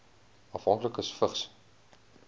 afhanklikes vigs